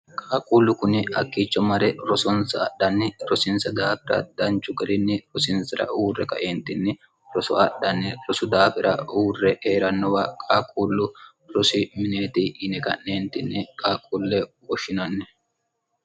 kaaquullu kuni akkiicho mare rosonsa adhanni rosiinsa daafira danchu garinni rosiinsira uurre kaeentinni roso adhanni rosu daafira uurre hee'rannowa kaaquullu rosi mineeti yine ga'neentinni qaaquulle uwoshshinanni